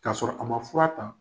K'a sɔrɔ a ma fura ta.